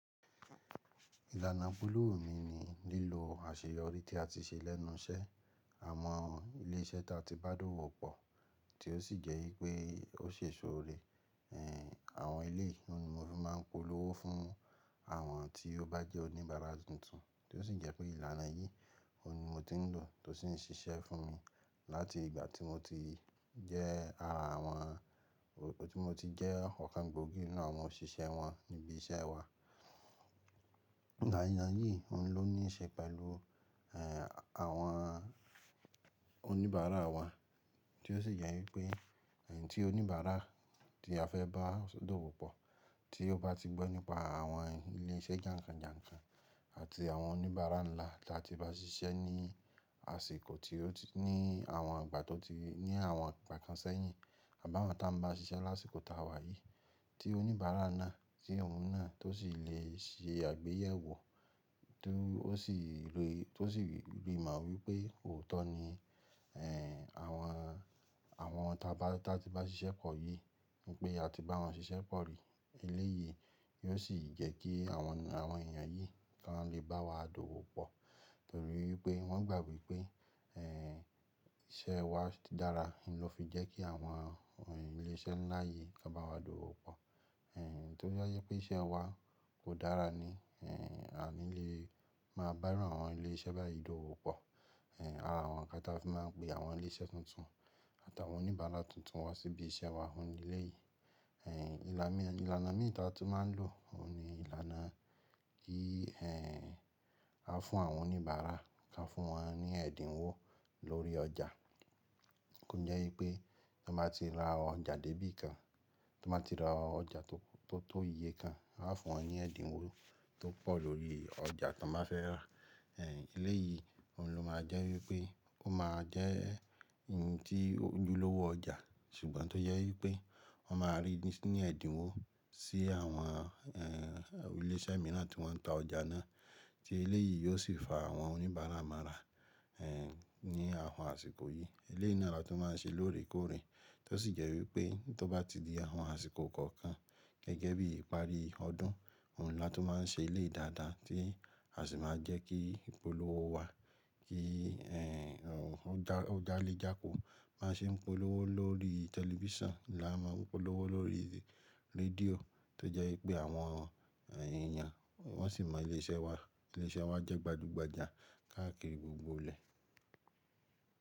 Ìlànà ìpolówó mi ni lílo àṣeyọrí tí a ti ṣe lẹ́nu iṣẹ́. Àwọn ilé iṣẹ́ ta ti bá dọ̀wọ́pọ̀ tí ó sì jẹ́ wípé ó ṣe èso rẹ̀, ẹ́ àwọn eléyi oun mo ru máa ń polówó fún àwọn tí ó bá jẹ́ oníbàárà tuntun, tí ó sì jẹ́ pé ìlànà yìí, òun ni mo ti ń lò tó sì ń ṣiṣẹ́ fún mi láti ìgbà tí mo ti jẹ́ ara àwọn-- tí mo ti jẹ́ ọ̀kan gbòógì nínú àwọn òṣìṣẹ́ wọn níbí iṣẹ́ wa. Ìlànà yìí, òun ló níí ṣe pẹ̀lú, ẹ́ àwọn oníbàárà wa tí ó sì jẹ́ wípé, ẹyin tí oníbàárà tí a fẹ́ bá dọ̀wòpọ̀, tí ó bá ti gbọ́ nípa àwọn ilé iṣẹ́ jànkànjànkàn àti àwọn oníbàárà ńlá tí a ti bá ṣiṣẹ́ ní àsìkò tí ó ti-- ní àwọn ìgbà tó ti-- ní àwọn ìgbà kan sẹ́yìn, àbá won ta ń bá ṣiṣẹ́ lásìkò taa wà yìí, tí oníbàárà náà, tí ọ̀un náà tó sì le ṣe àgbéyẹ̀wò, tó ó sì lè rí, tó sì lè rí mọ wípé òótọ́ ni, ẹ́ àwọn, àwọn táa bá, tí a ti bá ṣiṣẹ́ pọ̀ yìí wípé a ti bá wọn ṣiṣẹ́ pọ̀ rí, eléyìí yóò sì jẹ́ kí àwọn, àwọn èèyàn yìí kan lè bá wa dọ̀wọ́pọ̀ nítorí wípé wọ́n gbà wípé, ẹ́ iṣẹ́ wa dára, ló fi jẹ́ kí àwọn ilé iṣẹ́ ńlá yìí máa bá wa dọ̀wọ́pọ̀. Ẹ tó jẹ wípé iṣẹ́ wa kò dára ni, ẹ́ àní lé máa bá iru àwọn ilé iṣẹ́ báyìí dọ̀wọ́pọ̀. Ẹ̀ ara àwọn kan ta fi máa ń pe àwọn ilé iṣẹ́ tuntun àtàwọn oníbàárà tuntun wá síbí iṣẹ́ wa. Òun ni eléyìí. Ẹ̀ ìlànà mìíràn tí a tún máa ń lò, òun ni ìlànà kí ẹ́ a fún àwọn oníbàárà, ká fún wọn ní ẹ̀dínwó lórí ọjà. Ó jẹ́ wípé tí wọ́n bá ti ra ọjà dé bí kan, tí wọ́n bá ti ra ọjà tó, tó iye kan, a fún wọn ní ẹ̀dínwó tó pọ̀ lórí ọjà tí wọ́n bá fẹ́ rà. Ẹ̀ eléyìí, òun ló máa jẹ́ wípé ó máa jẹ́ ohun tí ojúlówó ọjà, ṣùgbọ́n tó jẹ wípé wọ́n máa rí ní ẹ̀dínwó sí àwọn, ẹ́ ilé iṣẹ́ mìíràn tí wọ́n ń ta ọjà náà, tí eléyìí yóò sì fa àwọn oníbàárà mára, ẹ́ ní àwọn àsìkò yìí. Eléyìí na lá tun máa ń ṣe lóòrèkóòrè tí ó sì jẹ́ wípé tó bá ti di àwọn àsìkò kọ̀ọ̀kan gẹ́gẹ́ bí ìparí ọdún, òun ni a tó máa ń ṣe eléyi dáadáa tí a sì máa jẹ́ kí ìpolówó wa kí, ẹ́ já lé jáko baá ṣe ń polówó lórí tẹlifísàn, là máa ń polówó lórí rédíò tó jẹ́ wípé àwọn èèyàn wọ́n sì mọ ilé iṣẹ́ wa, ilé iṣẹ́ wa jẹ́ gbajúgbajà káàkiri gbogbo ilẹ̀.